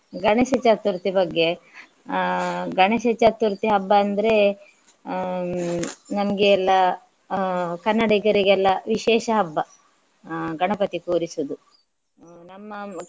ಗಣೇಶ ಚತುರ್ಥಿ ಬಗ್ಗೆ ಅಹ್ ಗಣೇಶ ಚತುರ್ಥಿ ಹಬ್ಬ ಅಂದ್ರೆ ಹ್ಮ್ ನಮ್ಗೆ ಎಲ್ಲ ಅಹ್ ಕನ್ನಡಿಗರಿಗೆಲ್ಲ ವಿಶೇಷ ಹಬ್ಬ ಅಹ್ ಗಣಪತಿ ಕೂರಿಸುವುದು ನಮ್ಮ.